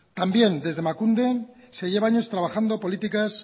también desde emakunde se lleva años trabajando políticas